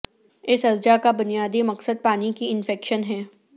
اس اجزاء کا بنیادی مقصد پانی کی انفیکشن ہے